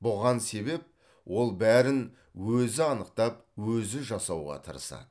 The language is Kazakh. бұған себеп ол бәрін өзі анықтап өзі жасауға тырысады